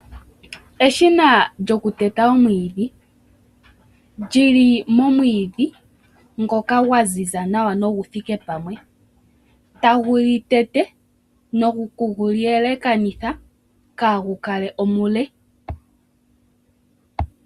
Eshina lyoku teta omwiidhi. Lyiili momwiidhi ngoka gwa ziza nawa noguthike pamwe, tagu li tete noku gu li elekanitha kaagu kale omule.